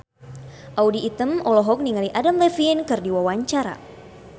Audy Item olohok ningali Adam Levine keur diwawancara